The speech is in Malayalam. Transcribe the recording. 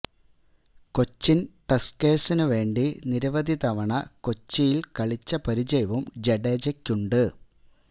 കൊച്ചിന് ടസ്ക്കേഴ്സിനു വേണ്ടി നിരവധി തവണ കൊച്ചില് കളിച്ച പരിചയവും ജഡേജക്കുണ്ട്